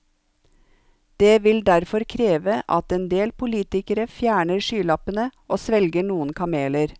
Det vil derfor kreve at en del politikere fjerner skylappene og svelger noen kameler.